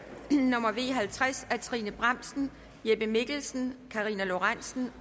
nummer v halvtreds af trine bramsen jeppe mikkelsen karina lorentzen